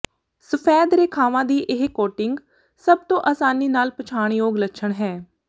ਸਫੈਦ ਰੇਖਾਵਾਂ ਦੀ ਇਹ ਕੋਟਿੰਗ ਸਭ ਤੋਂ ਅਸਾਨੀ ਨਾਲ ਪਛਾਣਯੋਗ ਲੱਛਣ ਹੈ